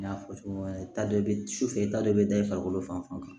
N y'a fɔ cogo min na e ta dɔ bɛ sufɛ e taa dɔ bɛ da i farikolo fan fɛ